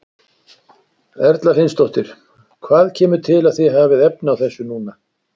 Erla Hlynsdóttir: Hvað kemur til að þið hafið efni á þessu núna?